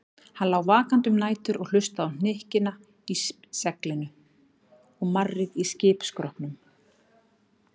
Hann lá vakandi um nætur og hlustaði á hnykkina í seglinu og marrið í skipsskrokknum.